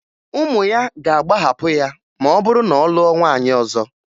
Ụmụ ya ga-agbaghapụ ya ma ọ bụrụ na ọ lụọ nwaanyị ọzọ